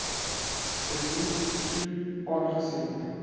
krediet toe aangesien